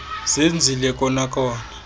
zenzile kona kona